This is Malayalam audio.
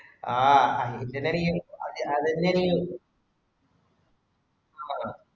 ആഹ് അതിങ്ങനെ ഈ cabbage ഇന് അരിയും. അഹ്